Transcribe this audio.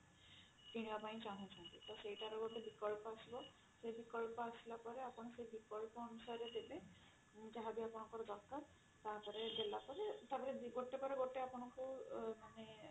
କିଣିବା ପାଇଁ ଚାହୁଁଛନ୍ତି ତ ସେଇଟାର ବିକଳ୍ପ ଗୋଟେ ଆସିବ ସେ ବିକଳ୍ପ ଆସିଲା ପରେ ଆପଣ ସେ ବିକଳ୍ପ ଅନୁସାରେ ଦେବେ ଯାହାବି ଆପଣଙ୍କର ଦରକାର ତାପରେ ଦେଲା ପରେ ଗୋଟେ ପରେ ଗୋଟେ ଆପଣଙ୍କୁ ମାନେ